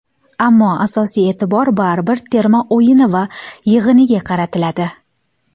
Ammo asosiy e’tibor baribir terma o‘yini va yig‘iniga qaratiladi.